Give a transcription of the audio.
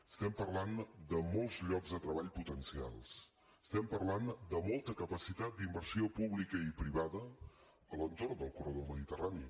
estem parlant de molts llocs de treball potencials estem parlant de molta capacitat d’inversió pública i privada a l’entorn del corredor mediterrani